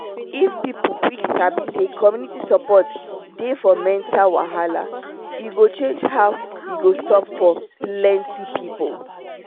if person quick sabi say community support dey for mental wahala e go change how e go stop for plenty people